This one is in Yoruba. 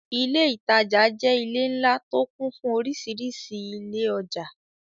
Ilé ìtajà jẹ́ ilé ńlá tó kún fún orísìírísìí ilé ọjà.